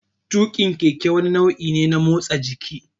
Tuƙin keke wani nau'i ne na motsa jiki.